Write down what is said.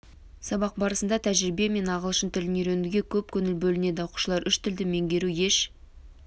сабақ барысында тәжірибе мен ағылшын тілін үйренуге көп көңіл бөлінеді оқушылар үш тілді меңгеру еш